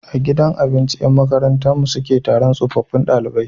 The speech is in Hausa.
A gidan abinci Yan makarantar mu sule Taron tsofaffun ɗalibai